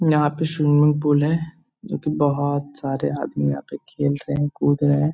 यहाँ पे swimming pool है। जो कि बहोत सारे आदमी यहाँ पे खेल रहे हैं कूद रहे हैं।